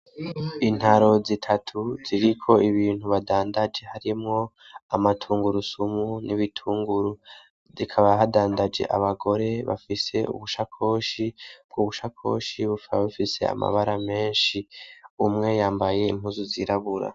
Intaro zitatu ziriko ibintu badandaje harimwo amatungurusumu n'ibitunguru zikaba hadandaje abagore bafise ubushakoshi bwo ubushakoshi bupfaa bafise amabara menshi umwe yambaye impuzu zirabura.